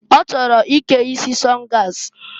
Ọ chọrọ ike isi sọngas.